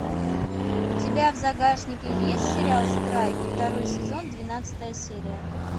у тебя в загашнике есть сериал страйк второй сезон двенадцатая серия